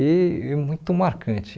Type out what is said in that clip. E e muito marcante.